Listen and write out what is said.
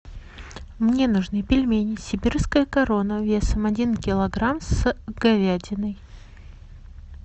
мне нужны пельмени сибирская корона весом один килограмм с говядиной